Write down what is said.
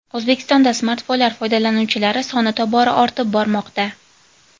O‘zbekistonda smartfonlar foydalanuvchilari soni tobora ortib bormoqda.